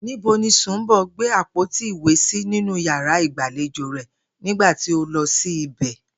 Níbo ni Sùnḿbò̩ gbé àpótí ìwé sí nínú yàrá ìgbàlejò rè̩ nígbà tí o lo̩ sí ìbè̩?